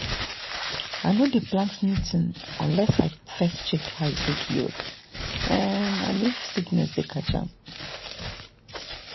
i no dey plant new thing unless i first check how e take yield um and if sickness dey catch am.